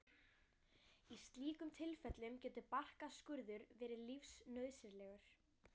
Í slíkum tilfellum getur barkaskurður verið lífsnauðsynlegur.